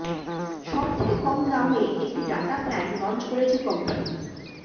সবথেকে কম দামে একটি ডাটা প্ল্যান লঞ্চ করেছে কোম্পানি